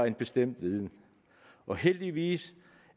en bestemt viden og heldigvis